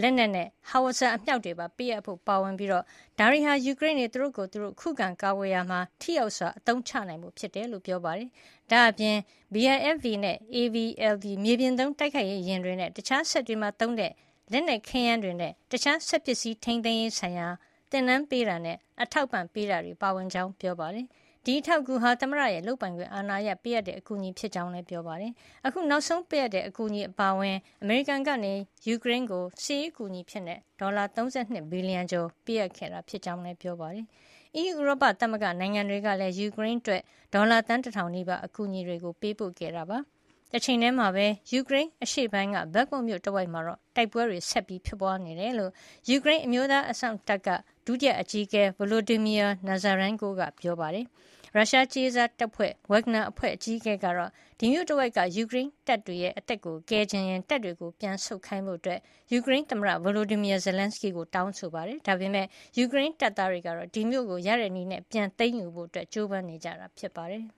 လက်နက်နဲ့ Howitzers အမြှောက်တွေပါ ပေးအပ်ဖို့ပါဝင်ပြီး ဒါတွေဟာ ယူကရိန်းတွေ သူတို့ကိုယ်သူတို့ ခုခံကာကွယ်ရာမှာ ထိရောက်စွာ အသုံးချနိုင်ဖို့ ဖြစ်ကြောင်း ပြောပါတယ်။ ဒါ့အပြင် BIFV နဲ့ AVLB မြေပြင်သုံး တိုက်ခိုက်ရေးယာဉ်တွေနဲ့ တခြားစက်တွေမှာသုံးတဲ့ လက်နက်ခဲယမ်းတွေ ၊ တခြားစက်ပစ္စည်း ထိန်းသိမ်းရေးဆိုင်ရာ သင်တန်းပေးတာ အထောက်အပံ့ပေးတာတွေပါ ပါဝင်ကြောင်း ပြောပါတယ်။ ဒီအထောက်အကူဟာ သမ္မတရဲ့ လုပ်ပိုင်ခွင့်အာဏာအရ ပေးအပ်တဲ့ အကူအညီဖြစ်ကြောင်းလည်း ပြောပါတယ်။ အခု နောက်ဆုံးပေးအပ်တဲ့ အကူအညီအပါအဝင် အမေရိကန်က ယူကရိန်းကို စစ်ရေးအကူညီ ဒေါ်လာ ၃၂ ဘီလီယံကျော်ပေးအပ်ခဲ့တာ ဖြစ်ကြောင်းလည်း ပြောပါတယ်။ အီးယူ ဥရောပသမဂ္ဂ နိုင်ငံတွေကလည်း ယူကရိန်းအတွက် ဒေါ်လာ သန်း ၁,၀၀၀ နီးပါး အကူအညီတွေ ပေးပို့ခဲ့တာပါ။ တချိန်ထဲမှာပဲ ယူကရိန်းအရှေ့ပိုင်း Bakhmut မြို့ တဝိုက်မှာတော့ တိုက်ပွဲတွေ ဆက်တိုက်ဖြစ်ပွါးနေကြောင်း ယူကရိန်း အမျိုးသားအစောင့်တပ် ဒုတိယအကြီးအကဲ Volodymyr Nazarenko က ပြောပါတယ်။ ရုရှားကြေးစားတပ်ဖွဲ့ Wagner အဖွဲ့ အကြီးအကဲက ဒီမြို့တဝိုက်က ယူကရိန်းတပ်တွေရဲ့ အသက်ကို ကယ်ချင်ရင် တပ်တွေပြန်ဆုတ်ခိုင်းဖို့ ယူကရိန်းသမ္မတ Volodymyr Zelenskyy ကို တောင်းဆိုနေပါတယ်။ ဒါပေမယ့် ယူကရိန်း တပ်သားတွေကတော့ ဒီမြို့ကို ပြန်ရဖို့ နည်းမျိုးစုံနဲ့ ကြိုးပမ်းနေကြတာ ဖြစ်ပါတယ်။